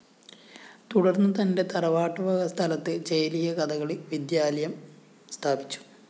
തുടര്‍ന്ന് തന്റെ തറവാട്ടുവക സ്ഥലത്ത് ചേലിയകഥകളി വിദ്യാലയം സ്ഥാപിച്ചു